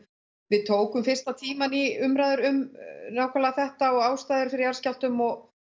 við tókum fyrsta tímann í umræður um nákvæmlega þetta og ástæður fyrir jarðskjálftum og